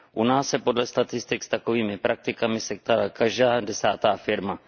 U nás se podle statistik s takovými praktikami setkala každá desátá firma.